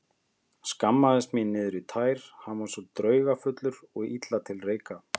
Skammaðist mín niður í tær, hann var svo draugfullur og illa til reika.